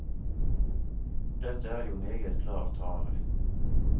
Dette er jo meget klar tale.